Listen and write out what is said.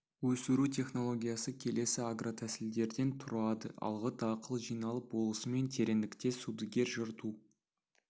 өсіру технологиясы келесі агротәсілдерден тұрады алғы дақыл жиналып болысымен тереңдікте сүдігер жырту